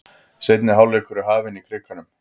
Seinni hálfleikur er hafinn í Krikanum